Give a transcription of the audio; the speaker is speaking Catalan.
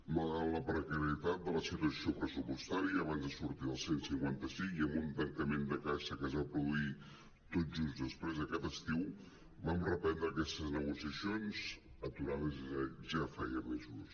malgrat la precarietat de la situació pressupos·tària i abans de sortir del cent i cinquanta cinc i amb un tancament de caixa que es va produir tot just després d’aquest estiu vam reprendre aquestes negociacions aturades ja feia mesos